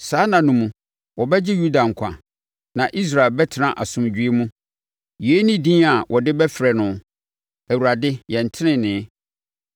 Saa nna no mu, wɔbɛgye Yuda nkwa na Yerusalem bɛtena asomdwoeɛ mu. Yei ne din a wɔde bɛfrɛ no Awurade, Yɛn Tenenee.’